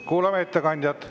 Kuulame ettekandjat.